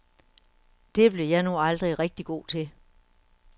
Det blev jeg nu aldrig rigtig god til.